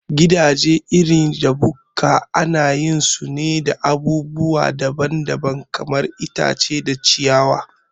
Gidaje irin da bukka anayin su da abubuwa daban daban, kamar itace kara, ciyawa